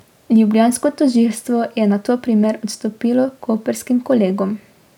Ljubljansko tožilstvo je nato primer odstopilo koprskim kolegom.